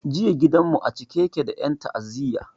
Jiya gidan mu a cike yake da en ta'aziya